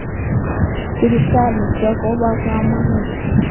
Sipitalisyek kopo kamonut